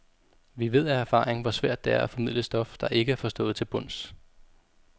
Vi ved af erfaring, hvor svært det er at formidle stof, der ikke er forstået til bunds.